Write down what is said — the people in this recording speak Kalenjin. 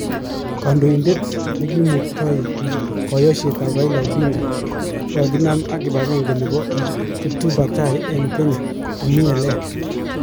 Kondoidet nekimukto koyoshet tab Raila Odinga kokakina ak kipagenge nebo kiptubatai eng kenya komi eleya.